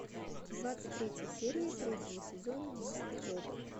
двадцать третья серия третьего сезона мистер робот